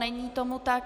Není tomu tak.